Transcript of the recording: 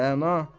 Rəna.